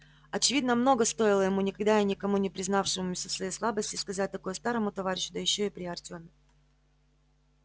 очевидно многого стоило ему никогда и никому не признававшемуся в своей слабости сказать такое старому товарищу да ещё при артеме